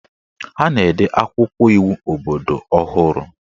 Ha na-ede akwụkwọ iwu obodo ọhụrụ